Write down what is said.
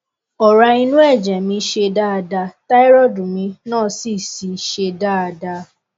ọrá inú ẹjẹ mi ṣe dáada táírọọdù mi náà sì sì ṣe dáada